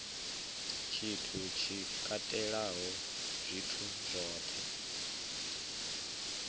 tshithu tshi katelaho zwithu zwohe